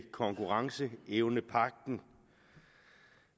konkurrenceevnepagten